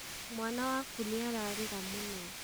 mwana waku nĩararĩra mũno